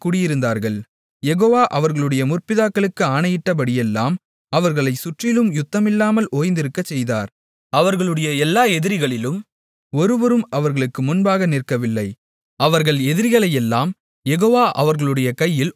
யெகோவா அவர்களுடைய முற்பிதாக்களுக்கு ஆணையிட்டபடியெல்லாம் அவர்களைச் சுற்றிலும் யுத்தமில்லாமல் ஓய்ந்திருக்கச்செய்தார் அவர்களுடைய எல்லா எதிரிகளிலும் ஒருவரும் அவர்களுக்கு முன்பாக நிற்கவில்லை அவர்கள் எதிரிகளையெல்லாம் யெகோவா அவர்களுடைய கையில் ஒப்புக்கொடுத்தார்